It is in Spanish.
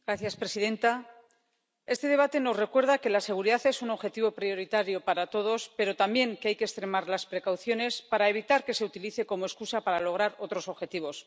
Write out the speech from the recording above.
Señora presidenta, este debate nos recuerda que la seguridad es un objetivo prioritario para todos, pero también que hay que extremar las precauciones para evitar que se utilice como excusa para lograr otros objetivos.